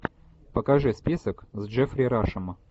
покажи список с джеффри рашем